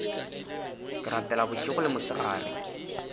ke rapela bošego le mosegare